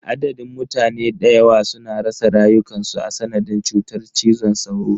Adadin mutane dayawa suna rasa rayukansu a sanadin cutar cizon sauro.